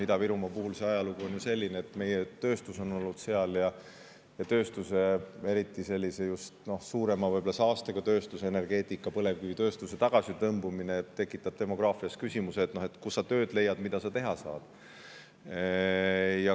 Ida-Virumaa ajalugu on ju selline, et seal on olnud meie tööstus, aga nüüd, kui sellise suurema saastega tööstus, põlevkivitööstus tõmbub tagasi, siis see tekitab demograafilisi küsimusi, näiteks kust sa tööd leiad ja mida sa teha saad.